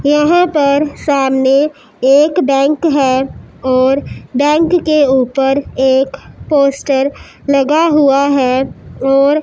यहां पर सामने एक बैंक है और बैंक के ऊपर एक पोस्टर लगा हुआ है और--